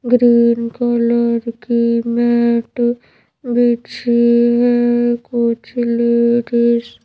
green colour की mat बिछी हैकुछ लेडीज --